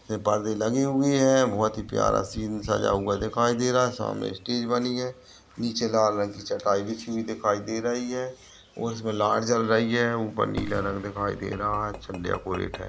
में पर्दे लगे हुए ऐं बोहोत ही प्यारा सीन सजा हुआ दिखाई दे रहा है सामने स्टेज बनी है नीचे लाल रंग की चटाई बिछी हुई दिखाई दे रही है और उसमे लाइट जल रही ऐं ऊपर नीला रंग दिखाई दे रहा है अच्छा डेकोरेट है।